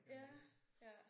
Ja ja